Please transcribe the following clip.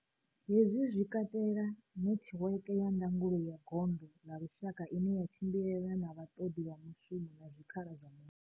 Hezwi zwi katela netiweke ya ndangulo ya gondo ḽa lushaka ine ya tshimbilelana na vhaṱoḓi vha mushumo na zwikhala zwa mushumo.